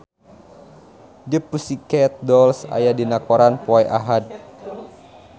The Pussycat Dolls aya dina koran poe Ahad